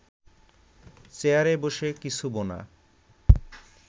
চেয়ারে বসে কিছু বোনা